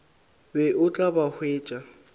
be o tla ba hwetša